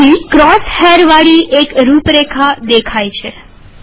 અહીં ક્રોસ હૈરવાળી એક રૂપરેખા દેખાય છે